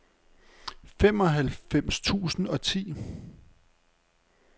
femoghalvfems tusind og ti